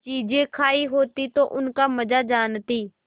चीजें खायी होती तो उनका मजा जानतीं